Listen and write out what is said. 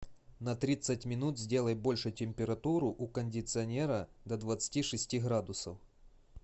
на тридцать минут сделай больше температуру у кондиционера до двадцати шести градусов